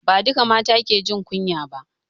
Ba duka mata ke jin kunya ba